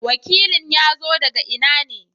wakilin ya zo daga ina ne?